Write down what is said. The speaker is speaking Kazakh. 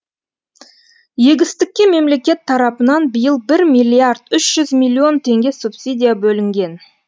егістікке мемлекет тарапынан биыл бір миллиард үш жүз миллион теңге субсидия бөлінген